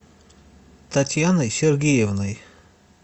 татьяной сергеевной